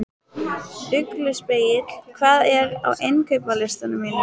Ugluspegill, hvað er á innkaupalistanum mínum?